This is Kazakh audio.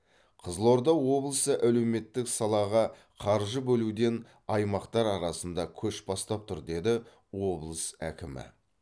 қызылорда облысы әлеуметтік салаға қаржы бөлуден аймақтар арасында көш бастап тұр деді облыс әкімі